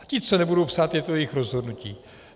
A ti, co nebudou psát, je to jejich rozhodnutí.